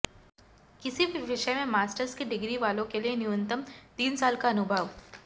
किसी भी विषय में मास्टर की डिग्री वालों के लिए न्यूनतम तीन साल का अनुभव